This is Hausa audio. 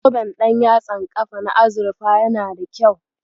Zoben ɗanyatsan kafa na azurfa yana da kyau.